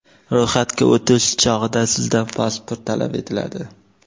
Ro‘yxatga o‘tish chog‘ida sizdan pasport talab etiladi.